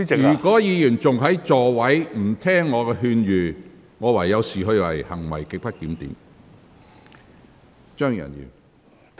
如果議員繼續在席上說話，不聽我的勸諭，我會視之為行為極不檢點。